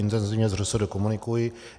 Intenzivně s ŘSD komunikuji.